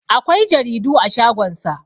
akwai jaridu a shagonsa